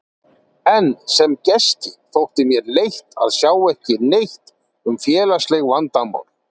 En sem gesti þótti mér leitt að sjá ekki neitt um félagsleg vandamál